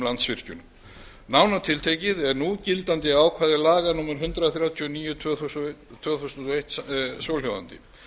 landsvirkjun nánar tiltekið er núgildandi ákvæði laga númer hundrað þrjátíu og níu tvö þúsund og eitt svohljóðandi